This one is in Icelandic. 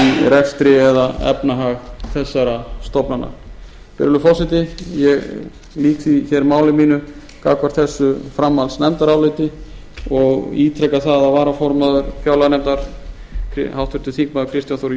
rekstri eða efnahag þessara stofnana virðulegi forseti ég lýk því máli mínu gagnvart þessu framhaldsnefndaráliti og ítreka það að varaformaður fjárlaganefndar háttvirtir þingmenn kristján þór